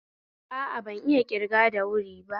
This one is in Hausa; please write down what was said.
A a, bayan iya ƙirga da wuri ba